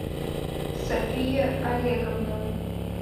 софия олеговна